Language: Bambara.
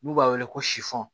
N'u b'a wele ko sifɔn